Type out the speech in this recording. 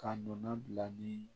Ka nɔnɔ bila ni